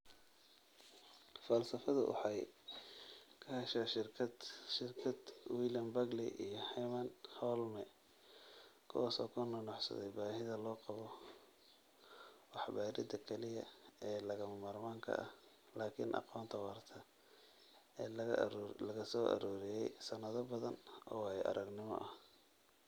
Falsafadu waxay ka heshaa shirkad William Bagley iyo Herman Holme, kuwaas oo ku nuuxnuuxsaday baahida loo qabo waxbaridda kaliya ee lagama maarmaanka ah laakiin aqoonta waarta ee laga soo ururiyay sannado badan oo waayo-aragnimo ah.